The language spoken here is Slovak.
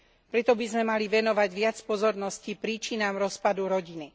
Preto by sme mali venovať viac pozornosti príčinám rozpadu rodiny.